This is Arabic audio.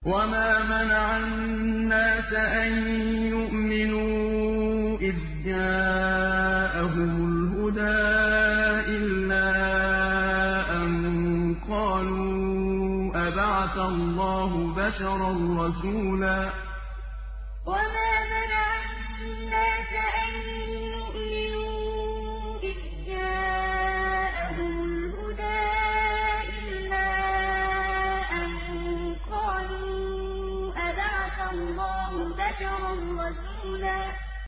وَمَا مَنَعَ النَّاسَ أَن يُؤْمِنُوا إِذْ جَاءَهُمُ الْهُدَىٰ إِلَّا أَن قَالُوا أَبَعَثَ اللَّهُ بَشَرًا رَّسُولًا وَمَا مَنَعَ النَّاسَ أَن يُؤْمِنُوا إِذْ جَاءَهُمُ الْهُدَىٰ إِلَّا أَن قَالُوا أَبَعَثَ اللَّهُ بَشَرًا رَّسُولًا